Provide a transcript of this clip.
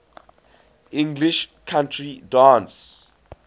english country dance